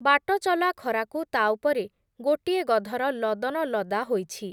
ବାଟଚଲା ଖରାକୁ ତା' ଉପରେ ଗୋଟିଏ ଗଧର ଲଦନ ଲଦା ହୋଇଛି ।